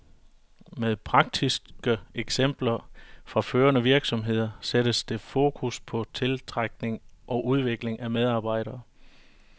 Med praktiske eksempler fra førende virksomheder sættes der fokus på tiltrækning og udvikling af medarbejdere.